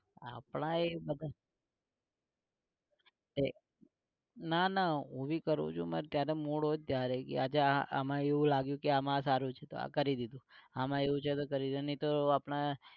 આપણા એ બધા ના ના હું ભી કરું છુ ને જયારે mood હોય ત્યારે. આજે આમાં એવું લાગ્યું કે આમાં સારું છે તો કરી દીધું આમાં એવું છે તો કરી નઇ તો આપણે